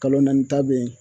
Kalo naani ta be ye